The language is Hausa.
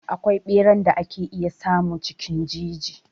Akwai ɓeran da ake iya samu cikin jeji.